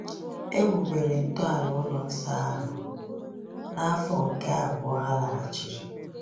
E wubere ntọala ụlọ nsọ ahụ n’afọ nke abụọ ha laghachiri.